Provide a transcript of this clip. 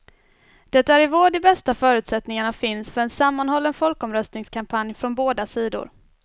Det är i vår de bästa förutsättningarna finns för en sammanhållen folkomröstningskampanj från båda sidor.